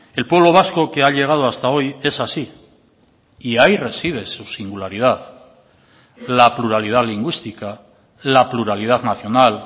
el pueblo vasco que ha llegado hasta hoy es así y ahí reside su singularidad la pluralidad lingüística la pluralidad nacional